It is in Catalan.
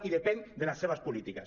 i depèn de les seves polítiques